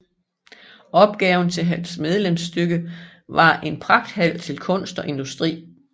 Opgaven til hans medlemsstykke var En Pragthal til Kunst og Industri